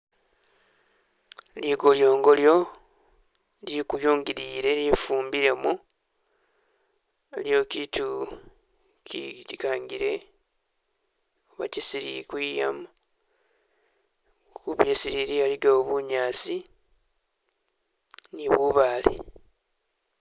Likolyongolyo likuyungile lye fumbilemo aliwo kiitu ki likangile wakisili kwiyama khulisilili alikawo bunyaasi ni bubaale